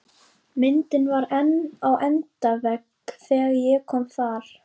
Myndin var þar enn á endavegg þegar ég kom þar